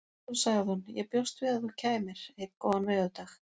Svo sagði hún: Ég bjóst við að þú kæmir. einn góðan veðurdag